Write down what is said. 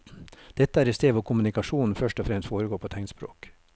Dette er et sted hvor kommunikasjonen først og fremst foregår på tegnspråk.